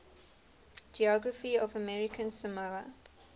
geography of american samoa